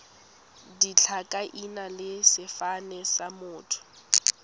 ditlhakaina le sefane sa motho